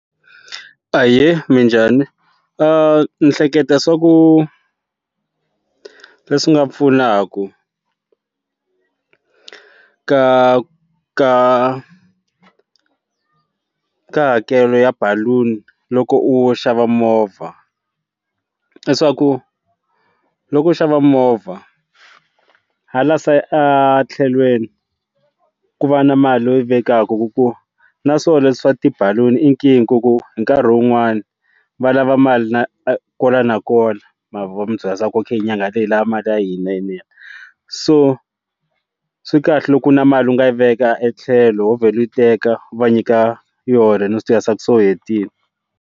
Ahee minjhani ndzi hleketa swaku leswi swi nga pfunaku ka ka hakelo ya baloon loko u xava movha i swa ku loko u xava movha ha la side a thlelweni ku va na mali leyi u yi vekaka hi ku na swona le swi swa tibaloon i nkingha hi ku hi nkarhi wun'wani va lava mali na kwala nakona mavona va ku byela swaku nyangha leyi hi lava mali ya hina yinene so swi kahle loko na mali u nga yi veka e tlhelo wo vhela yi teka va nyika yona swa ku se u hetile.